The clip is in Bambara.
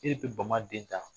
E de bɛ bama den ta